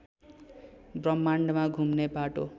ब्रह्माण्डमा घुम्ने बाटो